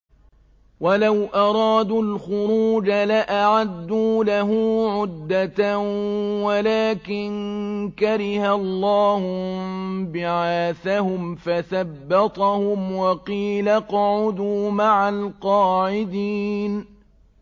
۞ وَلَوْ أَرَادُوا الْخُرُوجَ لَأَعَدُّوا لَهُ عُدَّةً وَلَٰكِن كَرِهَ اللَّهُ انبِعَاثَهُمْ فَثَبَّطَهُمْ وَقِيلَ اقْعُدُوا مَعَ الْقَاعِدِينَ